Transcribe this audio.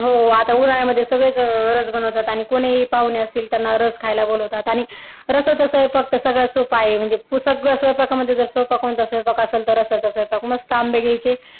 हो आता उन्हाळ्यामध्ये तर सगळेच रस बनवतात आणि कुणीही पाहुणे असतील त्यांना रस खायला बोलतात आणि खरंतर स्वयंपाक तर सगळ्यात सोपा आहे सगळ्या स्वयंपाकामध्ये जर सोपा कोणता स्वयंपाक असेल तर तो रस्ता स्वयंपाक मस्त आंबे घ्यायचे